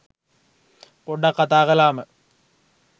පොඩ්ඩක් කතා කලාම